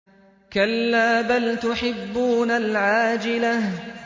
كَلَّا بَلْ تُحِبُّونَ الْعَاجِلَةَ